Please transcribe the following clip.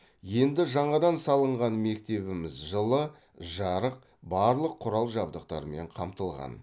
енді жаңадан салынған мектебіміз жылы жарық барлық құрал жабдықтармен қамтылған